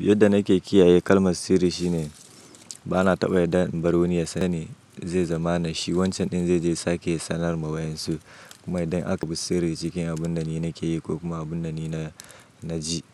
Yadda nake kiyaye kalmar sirri shine ba na taɓa yarda inbar wani ya sane, zai zama na shi. Wancan ɗin zai je sake sanar ma wayensu. Kuma idan aka bi sirri cikin abun da ni nake yi ko kuma abun da ni na ji.